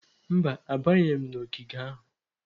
Mba, abanyeghị m n'ogige ahụ.